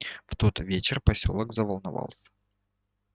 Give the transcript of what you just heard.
в тот вечер посёлок заволновался